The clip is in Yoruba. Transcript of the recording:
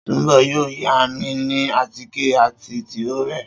Sùnḿbò̩ yóò yámi ní àtíkè àti tìróò rè̩